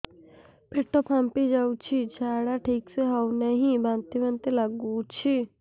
ପେଟ ଫାମ୍ପି ଯାଉଛି ଝାଡା ଠିକ ସେ ହଉନାହିଁ ବାନ୍ତି ବାନ୍ତି ଲଗୁଛି